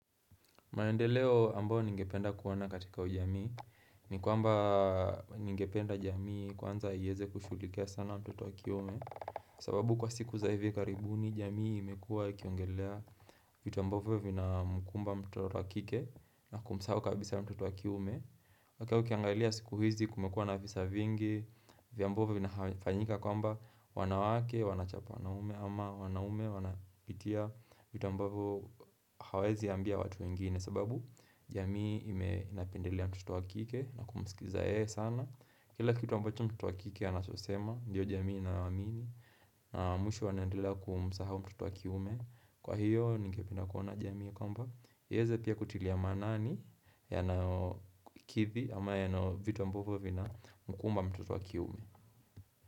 Maendeleo ambao ningependa kuona katika ujamii ni kwamba ningependa jamii kwanza iweze kushughulikia sana watoto wakiume sababu kwa siku za hivi karibuni jamii imekua ikiongelea vitu ambavyo vinamkumba mtoto wakike na kumsahau kabisa mtoto wa kiume Hata ukiangalia siku hizi kumekuwa na visa vingi vya ambavyo vinafanyika kwamba wanawake, wanachapa, wanaume ama wanaume wanapitia vitu ambapo hawezi ambia watu wengine sababu jamii imependelea mtoto wakike na kumsikiliza yeye sana Kila kitu ambacho mtoto wakike anachosema Ndiyo jamii inawaamini na mwisho wanendelea kumusahau mtoto wakiume Kwa hiyo ningependa kuona jamii kwamba iweze pia kutilia manani Yanayokithi ama yanayo vitu ambapo vinaMkumba mtoto wakiume.